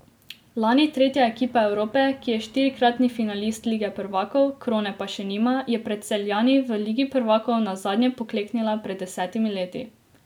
Lani tretja ekipa Evrope, ki je štirikratni finalist lige prvakov, krone pa še nima, je pred Celjani v ligi prvakov nazadnje pokleknila pred desetimi leti.